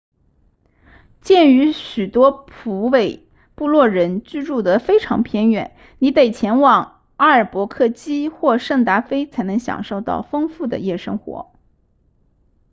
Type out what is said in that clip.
鉴于许多普韦布洛人居住得非常偏远你得前往阿尔伯克基或圣达菲才能享受到丰富的夜生活